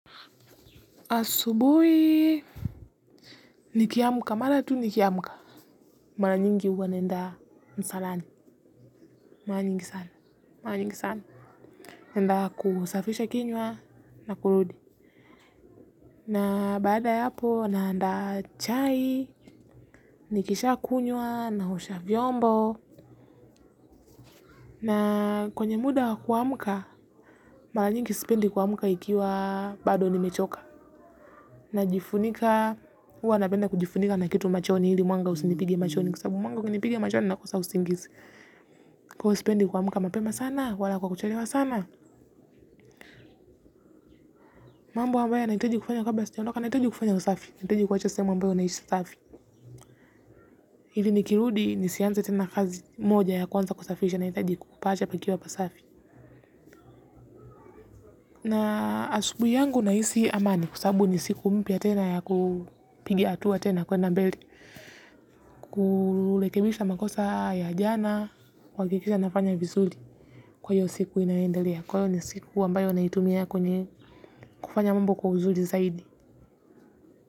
Asubui nikiamuka mara tu nikiamuka mara nyingi huwa naenda msalani maranyingi sana naenda kusafisha kinywa na kurudi na baada ya hapo naanda chai nikisha kunywa naosha vyombo na kwenye muda kuamuka mara nyingi sipendi kuamuka ikiwa bado nimechoka najifunika wana penda kujifunika na kitu machoni hili mwanga usinipige machoni kwa sababu mwanga ukinipiga machoni nakosa usingizi. Kwa huo sipendi kwa muka mapema sana, wala kwa kucherewa sana. Mambo wa mbaya naitaji kufanya kabla sijaondoka, naitaji kufanya usafi. Naitaji kwacha sehemu ambayo nahisha safi. Hili nikirudi nisianza tena kazi moja ya kwanza kusafisha na itaji kukupaacha pakiwa pasafi. Na asubui yangu naisi amani kwa sababu nisiku mpya tena ya kupigi atua tena kwenda mbele. Kulekebisha makosa ya jana kuwakikisha nafanya visuli kwa hio siku inaendalia. Kwa hio ni siku ambayo naitumia kwenye kufanya mambo kwa uzuli zaidi.